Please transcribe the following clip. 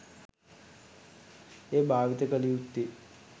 එය භාවිත කළ යුත්තේ